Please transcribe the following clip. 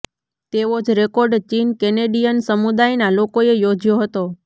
તેવો જ રેકોર્ડ ચીન કેનેડિયન સમુદાયના લોકોએ યોજયો હતો